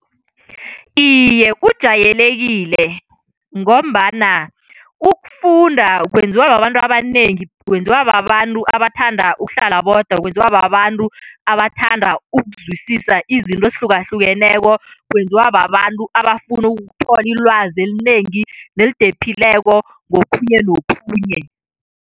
Iye, ujayelekile ngombana ukufunda kwenziwa babantu abanengi, kwenziwa babantu abathanda ukuhlala bodwa, kwenziwa babantu abathanda ukuzwisisa izinto ezihlukahlukeneko, kwenziwa babantu abafuna ukuthola ilwazi elinengi nelidephileko ngokhunye nokhunye.